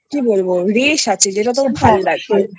একটা কি বলবো রেষ আছে যেটা তোর ভালো লাগবে